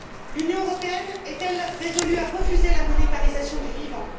L'Union européenne est elle résolue à refuser la monétarisation du vivant?